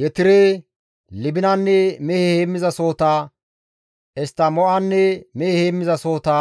Yetire, Libinanne mehe heemmizasohota, Eshttamo7anne mehe heemmizasohota,